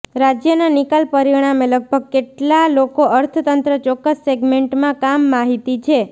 રાજ્યના નિકાલ પરિણામે લગભગ કેટલા લોકો અર્થતંત્ર ચોક્કસ સેગમેન્ટમાં કામ માહિતી છે